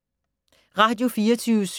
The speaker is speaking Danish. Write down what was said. Radio24syv